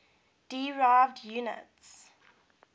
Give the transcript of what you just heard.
derived units